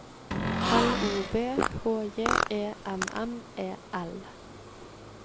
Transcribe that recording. L O V H J E M M E L